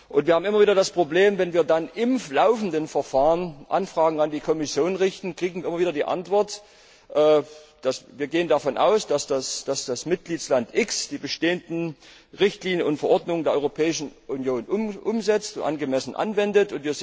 Wir haben immer wieder das Problem, wenn wir dann im laufenden Verfahren Anfragen an die Kommission richten, bekommen wir immer wieder die Antwort Wir gehen davon aus, dass das Mitgliedsland x die bestehenden Richtlinien und Verordnungen der Europäischen Union umsetzt und angemessen anwendet.